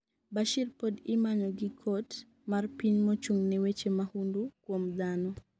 Bashir pod imanyo gi kot mar piny mochung'ne weche mahundu kuom dhano